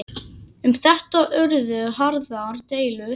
Um þetta urðu harðar deilur.